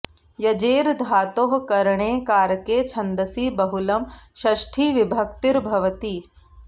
यजेर् धातोः करणे कारके छन्दसि बहुलं षष्थी विभक्तिर् भवति